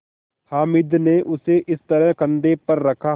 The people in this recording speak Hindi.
हामिद ने उसे इस तरह कंधे पर रखा